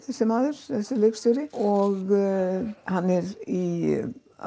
þessi maður þessi leikstjóri og hann er í